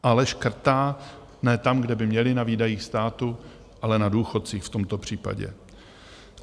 Ale škrtá ne tam, kde by měli, na výdajích státu, ale na důchodcích v tomto případě.